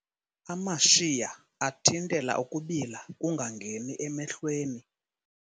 Amashiya athintela ukubila kungangeni emehlweni.